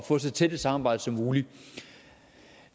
få så tæt et samarbejde som muligt